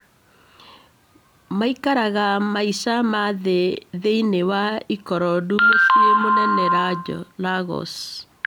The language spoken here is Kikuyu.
Maikaraga maica ma thĩ thĩini wa Ikorodu mũciĩ mũnene Lagos